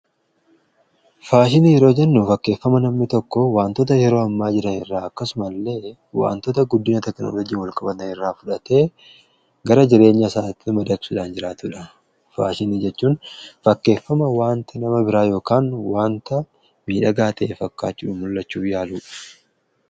Faashinii yeroo jennu fakkeeffama nammi tokko wantoota yeroo hammaa jira irraa akkasumaillee wantoota guddina teknoolojiin walqabata irraa fudhate gara jireenya isaatti madaqsudhaan jiraatudha. Faashinii jechuun fakkeeffama waanti nama biraa yookaan wanta miidhagaa ta'e fakkaachuun mul'achuu yaaluudha.